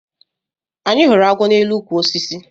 Anyị hụrụ agwọ na elu ukwu osisi